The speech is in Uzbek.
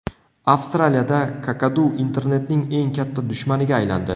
Avstraliyada kakadu internetning eng katta dushmaniga aylandi.